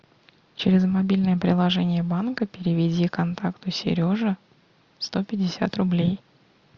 через мобильное приложение банка переведи контакту сережа сто пятьдесят рублей